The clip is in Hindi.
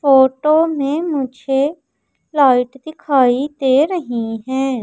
फोटो में मुझे लाइट दिखाई दे रही है।